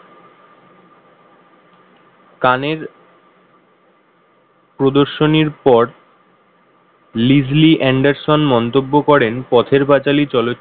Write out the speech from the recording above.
কানের প্রদর্শনীর পর Lily Anderson মন্তব্য করেন পথের পাঁচালী চলচ্চিত্র।